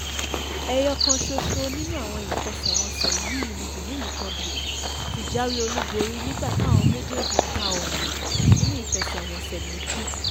ẹ̀yọkàn ṣoṣo nínú àwọn ìfẹsẹ̀wọnsẹ̀ yìí ni benin republic ti jáwé olúborí nígbà táwọn méjèèjì ta omi nínú ìfẹsẹ̀wọnsẹ̀ méjì